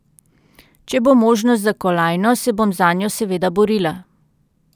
Če bo možnost za kolajno, se bom zanjo seveda borila.